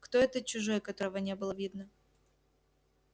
кто этот чужой которого не было видно